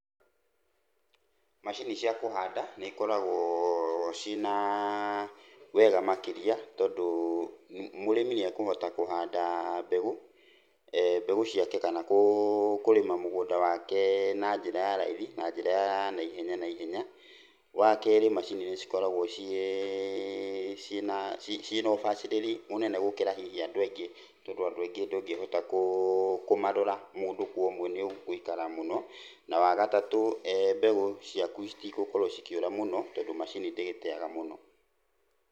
Macini cia kũhanda nĩ ikoragwo ciĩna wega makĩria, tondũ mũrĩmi nĩakũhota kũhanda mbegũ, mbegũ ciake kana kũrĩma mũgũnda wake na njĩra ya raithi, na njĩra ya naihenya naihenya. Wakerĩ macini nĩcikoragwo ciĩ, ciĩna, ci, ciina ũbacĩrĩri mũnene gũkĩra hihi andũ aingĩ, tondũ andũ aingĩ ndũngĩhota, kũũ, kũmarora mũndũ kwa ũmwe nĩ ũgũikara mũno. Na wagatatũ mbegũ ciaku citigũkorwo cikĩũra mũno tondũ macini ndĩgĩteaga mũno.